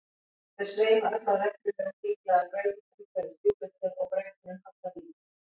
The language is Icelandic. þau sveima öll á reglulegum hringlaga brautum umhverfis júpíter og brautunum hallar lítið